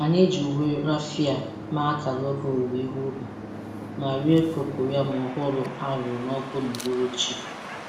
Anyị ji uwe raffia mee akara oge owuwe ihe ubi ma rie cocoyam ọhụrụ a roara n’ọkụ n’uhuruchi.